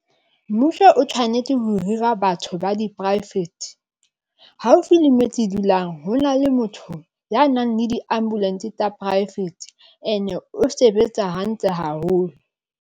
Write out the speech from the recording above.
Mmuso o tshwanetse ho hira batho ba di poraefete haufi le metsi e dulang hona le motho ya nang le diambulance tsa poraefete and o sebetsa hantle haholo.